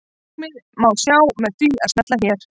Markið má sjá með því að smella hérna.